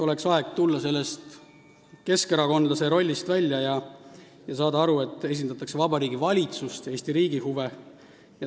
Oleks aeg tulla sellest keskerakondlase rollist välja ja saada aru, et esindatakse Vabariigi Valitsust ja Eesti riigi huve.